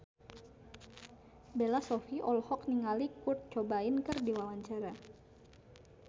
Bella Shofie olohok ningali Kurt Cobain keur diwawancara